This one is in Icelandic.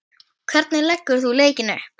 Hvernig leggur þú leikinn upp?